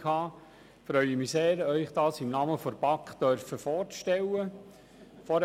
Ich freue mich sehr, es Ihnen im Namen der BaK vorstellen zu dürfen.